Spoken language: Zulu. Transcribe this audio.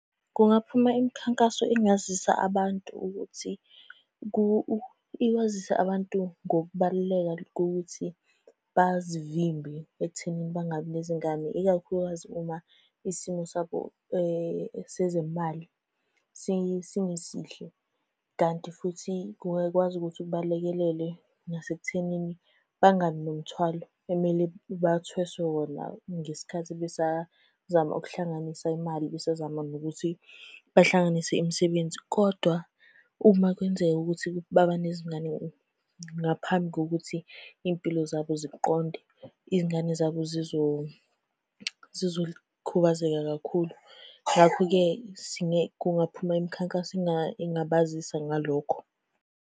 Kungaphuma imikhankaso engazisa abantu ukuthi ikwazise abantu ngokubaluleka kokuthi bazivimbe ekuthenini bangabi nezingane ikakhulukazi uma isimo sabo sezemali singesihle. Kanti futhi kungakwazi ukuthi kubalekelele nasekuthenini bangabi nomthwalo emele bathweswe wona ngesikhathi besazama ukuhlanganisa imali. Besazama nokuthi bahlanganise imisebenzi, kodwa uma kwenzeka ukuthi baba nezingane ngaphambi kokuthi iy'mpilo zabo ziqonde, iy'ngane zabo zizokhubazeka kakhulu. Ngakho-ke kungaphuma imikhankaso engabazisa ngalokho.